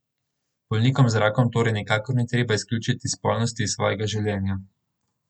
Bolnikom z rakom torej nikakor ni treba izključiti spolnosti iz svojega življenja.